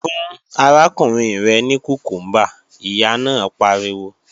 Fún arákùnrin rẹ ní kùkúmbà, Ìyá náà pariwo!